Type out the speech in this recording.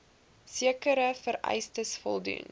sekere vereistes voldoen